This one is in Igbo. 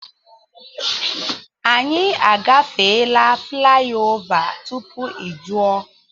Anyị a gafeela flaị ova tupu ị jụọ.